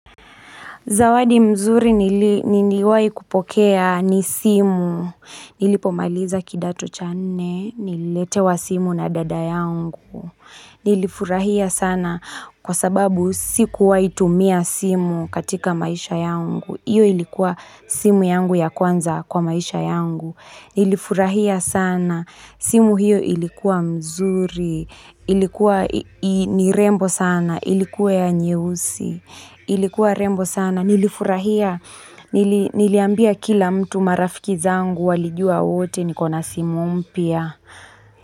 Zawadi mzuri niliwahi kupokea ni simu. Nilipomaliza kidato cha nne, nililetewa simu na dada yangu. Nilifurahia sana kwa sababu sikuwai tumia simu katika maisha yangu. Hiyo ilikuwa simu yangu ya kwanza kwa maisha yangu. Nilifurahia sana, simu hiyo ilikuwa mzuri. Ilikuwa ni rembo sana, ilikuwa ya nyeusi. Ilikuwa rembo sana nilifurahia niliambia kila mtu marafiki zangu walijua wote nikona simu mpya.